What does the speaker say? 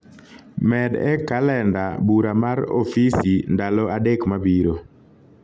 med e kalenda bura mar ofisi ndalo adek mabiro